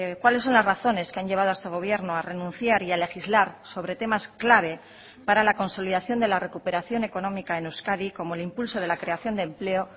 cuáles son las razones que han llevado a este gobierno a renunciar y a legislar sobre temas clave para la consolidación de la recuperación económica en euskadi como el impulso de la creación de empleo